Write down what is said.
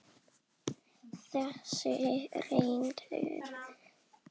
Þessi réttur þolir mikið salt.